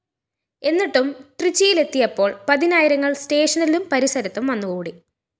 എന്നിട്ടും ട്രിച്ചിയിലെത്തിയപ്പോള്‍ പതിനായിരങ്ങള്‍ സ്റ്റേഷനിലും പരിസരത്തും വന്നുകൂടി